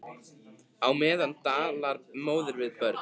Á meðan talar móðir við börn.